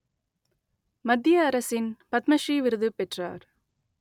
மத்திய அரசின் பத்ம ஸ்ரீ விருது பெற்றார்